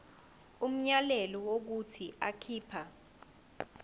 umyalelo wokuthi akhipha